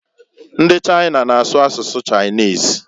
Ndi China na-asu asụsụ Chinese.